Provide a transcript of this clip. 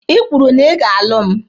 Ị kwuru na ị ga-alụ mụ.